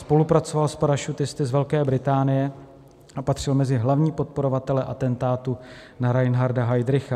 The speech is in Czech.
Spolupracoval s parašutisty z Velké Británie a patřil mezi hlavní podporovatele atentátu na Reinharda Heydricha.